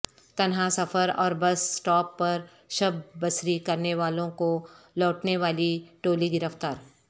تنہا سفر اور بس اسٹاپ پر شب بسری کرنے والوں کو لوٹنے والی ٹولی گرفتار